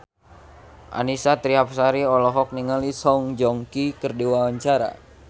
Annisa Trihapsari olohok ningali Song Joong Ki keur diwawancara